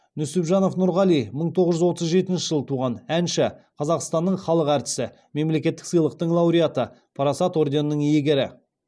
нүсіпжанов нұрғали мың тоғыз жүз отыз жетінші жылы туған әнші қазақстанның халық әртісі мемлекеттік сыйлықтың лауреаты парасат орденінің иегері